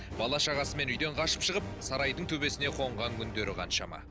бала шағасымен үйден қашып шығып сарайдың төбесіне қонған күндері қаншама